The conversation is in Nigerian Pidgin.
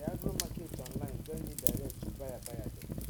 the agromarket online join me direct to buyer buyer dem